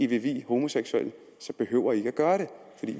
vil vie homoseksuelle behøver i ikke at gøre det